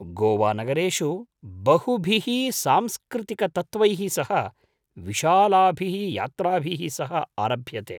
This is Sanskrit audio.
गोवानगरेषु बहुभिः सांस्कृतिकतत्त्वैः सह विशालाभिः यात्राभिः सह आरभ्यते।